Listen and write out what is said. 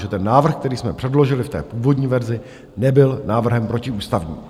Že ten návrh, který jsme předložili v té původní verzi, nebyl návrhem protiústavním.